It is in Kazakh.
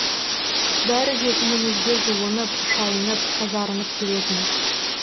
бәрі де үйімізге жуынып шайынып тазарынып келетін